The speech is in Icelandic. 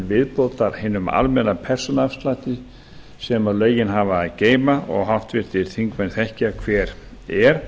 viðbótar hinum almenna persónuafslætti sem lögin hafa að geyma og háttvirtir þingmenn þekkja hver er